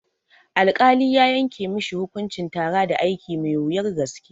Alkali ya yanke mishi hukuncin tara da aiki mai wuyar gaske